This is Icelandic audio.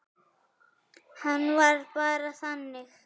Hann var bara þannig.